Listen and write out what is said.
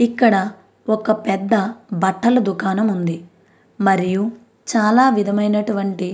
ఇక్కడ ఒక పెద్ద బట్టల దుకాణం ఉంది మరియు చాల వేదమైనటువంటి --